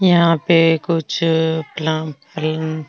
यहां पे कुछ --